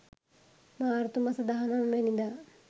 මාර්තු මස 19 වැනි දා